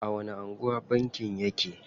A wani anguwa bankin yake?